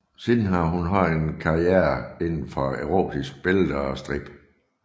Siden har hun haft en karriere inden for erotiske billeder og strip